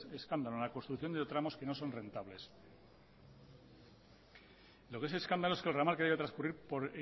escándalo en la construcción de tramos que nos son reentables lo que es escándalo es que el ramal que debe transcurrir por